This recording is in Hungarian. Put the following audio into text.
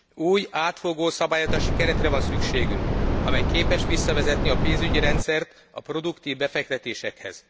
Új, átfogó szabályozási keretre van szükségünk, amely képes visszavezetni a pénzügyi rendszert a produktív befektetésekhez.